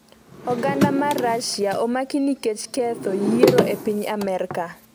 oganda mar Russia omaki nikech ketho yiero e piny Amerka